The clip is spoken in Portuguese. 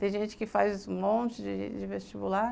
Tem gente que faz um monte de de vestibular.